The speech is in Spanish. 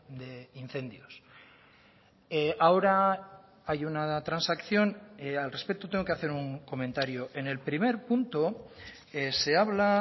de incendios ahora hay una transacción al respecto tengo que hacer un comentario en el primer punto se habla